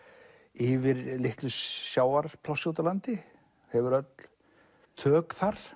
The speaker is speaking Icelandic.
yfir litlu sjávarplássi úti á landi hefur öll tök þar